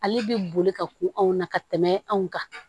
Ale bɛ boli ka k'o anw na ka tɛmɛ anw kan